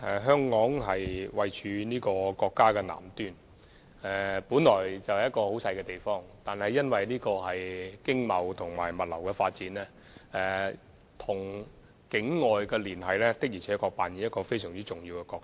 香港位處國家南端，雖然是一個很細小的地方，但因為經貿及物流發展，與境外的連繫確實擔當非常重要的角色。